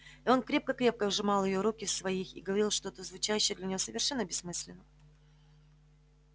и он крепко-крепко сжимал её руки в своих и говорил что-то звучавшее для нее совершенно бессмысленно